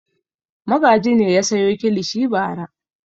Magaji ne ya sayo kilishi bara.